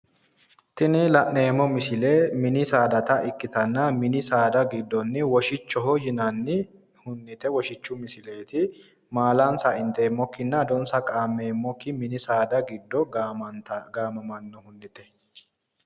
Tini la'neemmo misile mini saada misileeti mini saada giddo woshichu misileeti